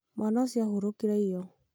mwana ũcio ahurũkire iyo